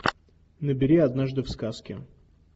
набери однажды в сказке